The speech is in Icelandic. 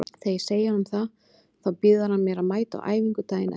Þegar ég segi honum það þá býður hann mér að mæta á æfingu daginn eftir.